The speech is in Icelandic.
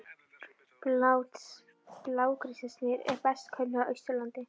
Blágrýtismyndunin er best könnuð á Austurlandi.